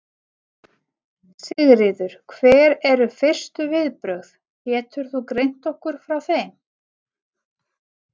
Sigríður: Hver eru fyrstu viðbrögð, getur þú greint okkur frá þeim?